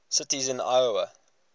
cities in iowa